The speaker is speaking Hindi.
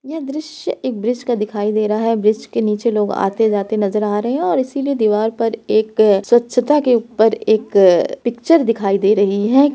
यह दृष्य एक ब्रिज का दिखाई दे रहा है ब्रिज के नीचे लोग आते-जाते नजर आ रहें हैं और इसीलिए दीवार पर एक स्वछता के ऊपर एक पिक्चर दिखाई दे रही है।